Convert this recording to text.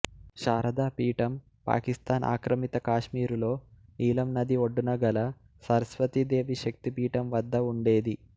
శారదా పీఠం పాకిస్థాన్ ఆక్రమిత కాశ్మీరులో నీలం నది ఒడ్డున గల సరస్వతీ దేవి శక్తిపీఠం వద్ద ఉండేది